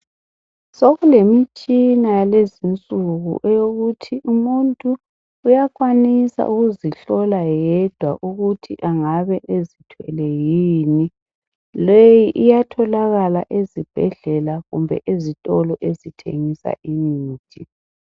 Sokulemitshina yalezinsuku eyokuthi umuntu uyakwanisa ukuzihlola yedwa ukuthi angabe ezithwele yini, leyi iyatholakala ezibhedlela kumbe ezitolo ezithengisa imithi.